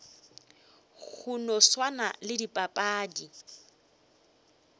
go no swana le dipapadi